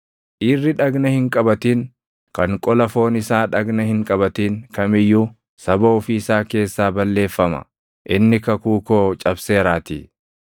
Dhiirri dhagna hin qabatin, kan qola foon isaa dhagna hin qabatin kam iyyuu saba ofii isaa keessaa balleeffama; inni kakuu koo cabseeraatii.”